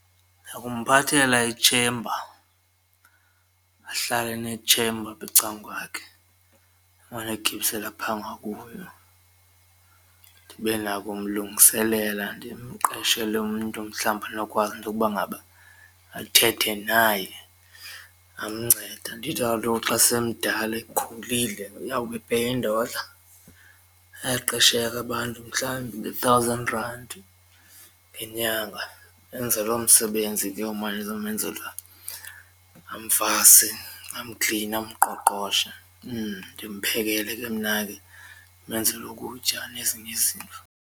Ndakumphathela itshemba ahlale enetshemba apha ecangukwakhe emane egibisela pha ngakuyo ndibe nako umlungiselela ndimqeshele umntu mhlawumbi onokwazi into yokuba ngaba athethe naye amncede andithi kaloku xa semdala ekhulile uyawube epeya indodla. Bayaqesheka abantu mhlawumbi nge-thousand rand ngenyanga enze loo msebenzi ke umane ezomenzela amvase, amkline, amqoqoshe ndimphekele ke mna ke ndimenzele ukutya nezinye izinto.